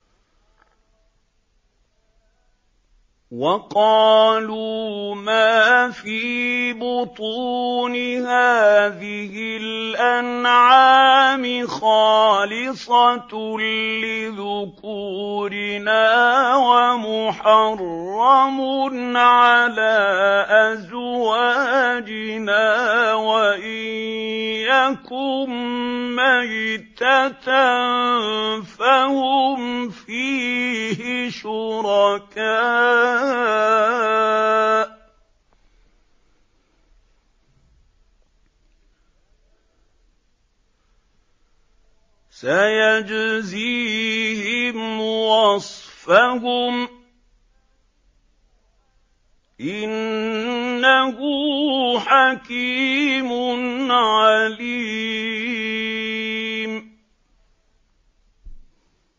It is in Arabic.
وَقَالُوا مَا فِي بُطُونِ هَٰذِهِ الْأَنْعَامِ خَالِصَةٌ لِّذُكُورِنَا وَمُحَرَّمٌ عَلَىٰ أَزْوَاجِنَا ۖ وَإِن يَكُن مَّيْتَةً فَهُمْ فِيهِ شُرَكَاءُ ۚ سَيَجْزِيهِمْ وَصْفَهُمْ ۚ إِنَّهُ حَكِيمٌ عَلِيمٌ